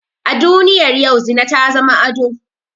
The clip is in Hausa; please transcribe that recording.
A duniyar yau zina ta zama ado